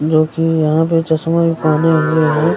जो की यहाँ पे चस्मा भी पहने हुए है।